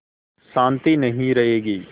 शान्ति नहीं रहेगी